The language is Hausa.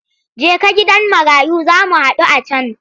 Jeka gidan marayun za mu haɗu a can!